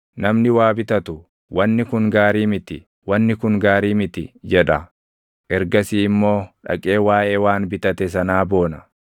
Namni waa bitatu, “Wanni kun gaarii miti; // wanni kun gaarii miti!” jedha; ergasii immoo dhaqee waaʼee waan bitate sanaa boona.